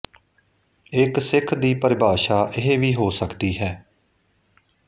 ਇਕ ਸਿੱਖ ਦੀ ਪਰਿਭਾਸ਼ਾ ਇਹ ਵੀ ਹੋ ਸਕਦੀ ਹੈ